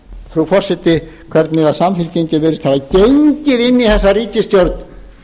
frú forseti hvernig samfylkingin virðist hafa gengið inn í þessa ríkisstjórn